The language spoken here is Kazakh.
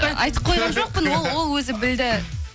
айтып қойған жоқпын ол ол өзі білді